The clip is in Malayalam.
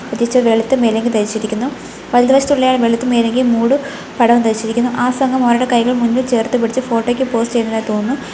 പ്രത്യേകിച്ച് വെളുത്ത മേലാങ്കി ധരിച്ചിരിക്കുന്നു വലത് വശത്തുള്ള ആൾ വെളുത്ത മേലാങ്കി മൂടും പടവും ധരിച്ചിരിക്കുന്നു ആ സംഘം അവരുടെ കൈകൾ മുന്നിൽ ചേർത്ത് പിടിച്ച് ഫോട്ടോയ്ക്ക് പോസ് ചെയ്യുന്നതായി തോന്നുന്നു.